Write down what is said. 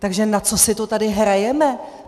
Takže na co si to tady hrajeme?